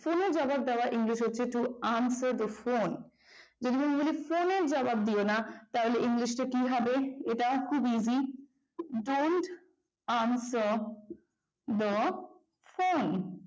ফোনের জবাব দেওয়া english হচ্ছে don't answer the phone যদি বলি ফোনের জবাব দিও না তাহলে english কি হবে এটাও খুব easy don't answer the phone